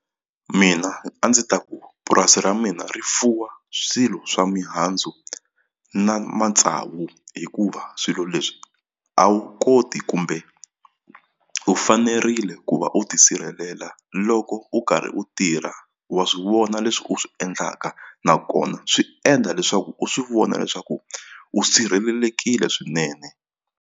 Mina a ndzi ta ku purasi ra mina ri fuwa swilo swa mihandzu na matsavu hikuva swilo leswi a wu koti kumbe u fanerile ku va u tisirhelela loko u karhi u tirha wa swivona leswi u swi endlaka nakona swi endla leswaku u swi vona leswaku u sirhelelekile swinene.